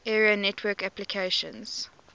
area network applications